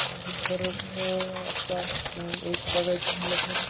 तर एक बघायचे म्हणल तर